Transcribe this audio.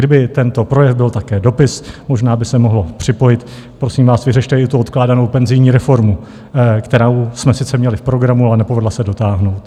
Kdyby tento projev byl také dopis, možná by se mohlo připojit: Prosím vás, vyřešte i tu odkládanou penzijní reformu, kterou jsme sice měli v programu, ale nepovedla se dotáhnout.